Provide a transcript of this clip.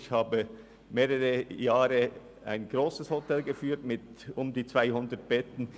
Ich führte während mehrerer Jahre ein grosses Hotel mit rund 200 Betten.